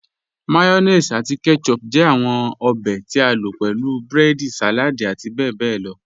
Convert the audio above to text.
Mayonnaise ati ketchup jẹ awọn obè tí a lo pẹ̀lú breedi, saladi ati bẹbẹ lọ.